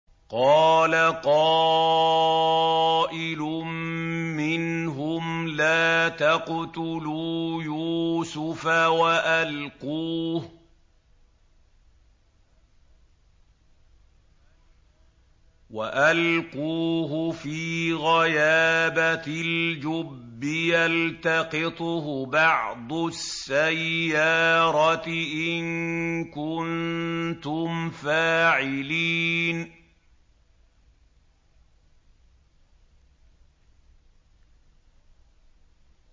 قَالَ قَائِلٌ مِّنْهُمْ لَا تَقْتُلُوا يُوسُفَ وَأَلْقُوهُ فِي غَيَابَتِ الْجُبِّ يَلْتَقِطْهُ بَعْضُ السَّيَّارَةِ إِن كُنتُمْ فَاعِلِينَ